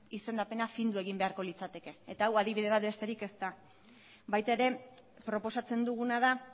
izendapena findu egin beharko litzateke eta hau adibide bat besterik ez da baita ere proposatzen duguna da